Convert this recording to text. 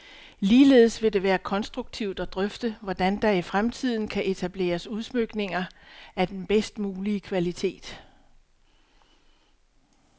Ligeledes vil det være konstruktivt at drøfte, hvordan der i fremtiden kan etableres udsmykninger af den bedst mulige kvalitet.